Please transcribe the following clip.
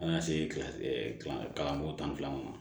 Ka na se kalanyɔrɔ tan ma